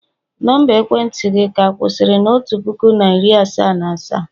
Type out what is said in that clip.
Nọmba ekwentị gị ka kwusiri na otu puku na iri asaa na asaa?